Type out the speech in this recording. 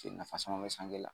nafa caman bɛ sanŋe la.